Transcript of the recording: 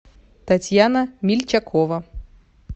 татьяна мильчакова